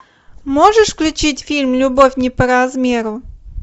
можешь включить фильм любовь не по размеру